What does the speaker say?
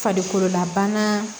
Farikololabana